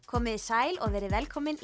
komiði sæl og verið velkomin